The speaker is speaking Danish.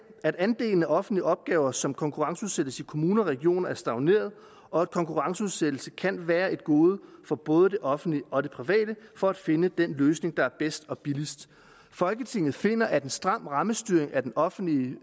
at andelen af offentlige opgaver som konkurrenceudsættes i kommuner og regioner er stagneret og at konkurrenceudsættelse kan være et gode for både det offentlige og det private for at finde den løsning der er bedst og billigst folketinget finder at en stram rammestyring af den offentlige